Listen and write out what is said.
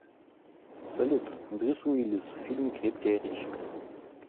салют брюс уиллис в фильме крепкий орешек